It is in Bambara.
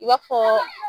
I b'a fɔ